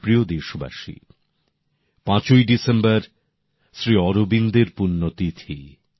আমার প্রিয় দেশবাসী পাঁচই ডিসেম্বর শ্রী অরবিন্দের পুণ্য তিথি